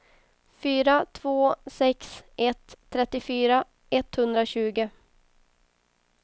fyra två sex ett trettiofyra etthundratjugo